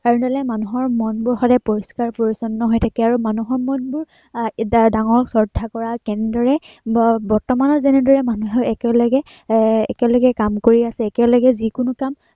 এনেদৰে মানুহৰ মনবোৰ সদায় পৰিস্কাৰ পৰিছন্ন হৈ থাকে, আৰু মানুহৰ মনবোৰ আহ ডাঙৰক ৰক্ষা কৰা তেনেদৰে আহ বৰ্তমানত যেনেদৰে মানুহৰ একেলগে এৰ একেলগে কাম কৰি আছে, আহ একেলগে যি কোনো কাম